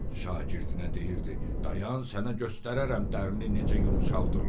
Şagirdinə deyirdi: Dayan sənə göstərərəm dərini necə yumşaldırlar.